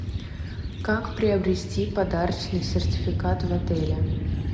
как приобрести подарочный сертификат в отеле